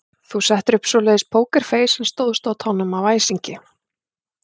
Þú settir upp svoleiðis pókerfeis en stóðst á tánum af æsingi.